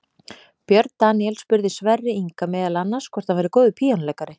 Björn Daníel spurði Sverri Inga meðal annars hvort hann væri góður píanóleikari.